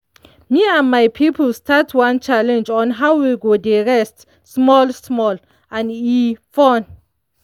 me and my people start one challenge on how we go dey rest small-small and e fun!